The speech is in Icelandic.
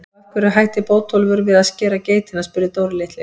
Og af hverju hætti Bótólfur við að skera geitina? spurði Dóri litli.